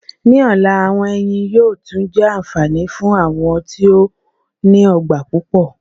Ní ọ̀la, àwọn ẹnyìn yóò tún jẹ́ anfani fún àwọn tí ó ní ọgbà pupọ.